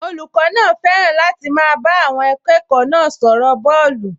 Olùkọ́ náà fẹ́ràn láti máa bá àwọn akẹ́kọ̀ọ́ náà sọ̀rọ̀ bọ́ọ̀lù